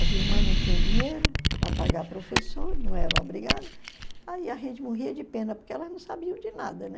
As irmãs não tinham dinheiro para pagar professor, não eram obrigadas, aí a gente morria de pena porque elas não sabiam de nada, né?